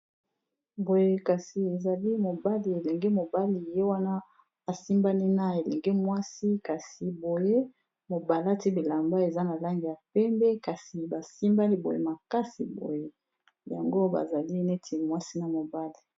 Boye kasi ezali mobali elenge mobali ye wana asimbani na elenge mwasi kasi boye mo balati bilamba eza na langi ya pembe kasi basimbani boye makasi boye yango bazali neti mwasi na mobali.